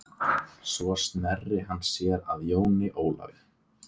Svo sneri hann sér að Jóni Ólafi.